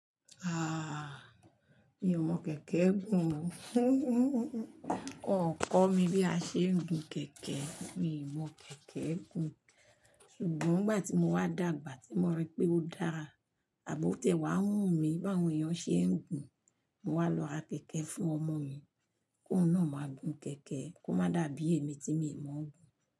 Ah! Mi ò mọ kẹ̀kẹ́ gùn o. Wọn kọ̀ mí bí a ṣe ń gun kẹ̀kẹ́. Mi ò mọ kẹ̀kẹ́ gùn. Sugbon ìgbà tí mo wá dàgbà, tí mo rí pé ó dára, àbó tiẹ wà wù mí bá àwọn èèyàn ṣe ń gun. Mo wá lo ra kẹ̀kẹ́ fún ọmọ mi kó un máa gùn kẹ̀kẹ́, kó má dàbí èmi tí mi ò mọ̀ gùn.